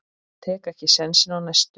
Tek ekki sénsinn á næstu.